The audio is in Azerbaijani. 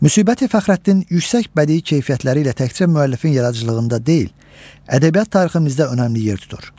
Müsbəti Fəxrəddin yüksək bədii keyfiyyətləri ilə təkcə müəllifin yaradıcılığında deyil, ədəbiyyat tariximizdə önəmli yer tutur.